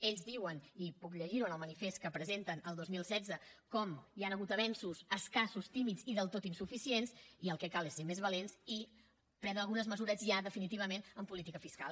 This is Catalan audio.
ells diuen i puc llegir ho en el manifest que presenten el dos mil setze que hi han hagut avenços escassos tímids i del tot insuficients i el que cal és ser més valents i prendre algunes mesures ja definitivament en política fiscal